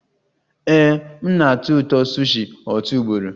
Ee, m na-atọ ụtọ sushi otu ugboro